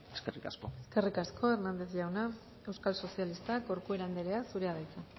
eskerrik asko eskerrik asko hernández jauna euskal sozialistak corcuera anderea zurea da hitza